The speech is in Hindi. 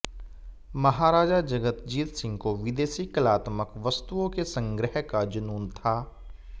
महाराजा जगतजीत सिंह को विदेशी कलात्मक वस्तुओं के संग्रह का जुनून था